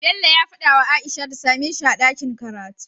Bello ya fada wa aisha ta sameshi a dakin karatu